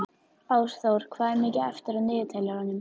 Ásþór, hvað er mikið eftir af niðurteljaranum?